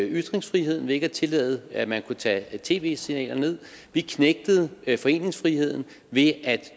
ytringsfriheden ved ikke at tillade at man kunne tage tv serier ned vi knægtede foreningsfriheden ved at